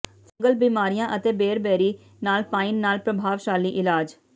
fungal ਬਿਮਾਰੀਆਂ ਅਤੇ ਬੇਰਬੇਰੀ ਨਾਲ ਪਾਈਨ ਨਾਲ ਪ੍ਰਭਾਵਸ਼ਾਲੀ ਇਲਾਜ